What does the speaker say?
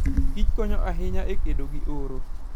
kich konyo ahinya e kedo gi oro.